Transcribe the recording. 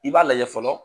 I b'a lajɛ fɔlɔ